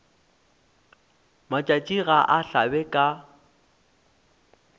matšatši ga a hlabe ka